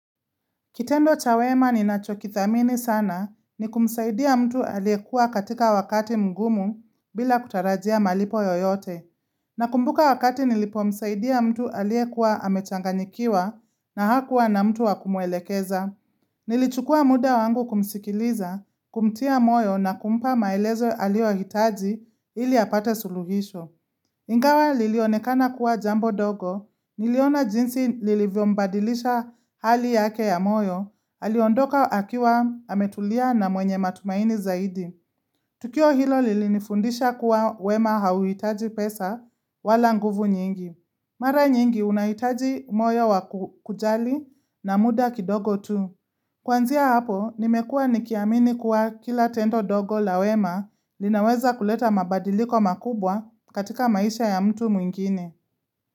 Kitendo cha wema ninachokithamini sana ni kumsaidia mtu aliyekuwa katika wakati mgumu bila kutarajia malipo yoyote. Nakumbuka wakati nilipomsaidia mtu aliyekuwa amechanganyikiwa na hakuwa na mtu wa kumwelekeza. Nilichukua muda wangu kumsikiliza, kumtia moyo na kumpa maelezo aliyohitaji ili apate suluhisho. Ingawa lilionekana kuwa jambo ndogo, niliona jinsi lilivyombadilisha hali yake ya moyo, haliondoka akiwa ametulia na mwenye matumaini zaidi. Tukio hilo lilinifundisha kuwa wema hauhitaji pesa wala nguvu nyingi. Mara nyingi unahitaji moyo wa kujali na muda kidogo tu. Kuanzia hapo, nimekuwa nikiamini kuwa kila tendo ndogo la wema linaweza kuleta mabadiliko makubwa katika maisha ya mtu mwingine.